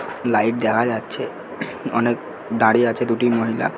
Light দেখা যাচ্ছে অনেক দাঁড়িয়ে আছে দুটি মহিলা।